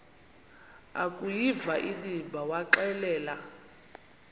akuyiva inimba waxelela